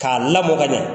K'a lamɔ ka ɲɛ